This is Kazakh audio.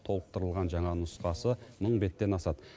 толықтырылған жаңа нұсқасы мың беттен асады